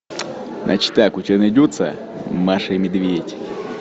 значит так у тебя найдется маша и медведь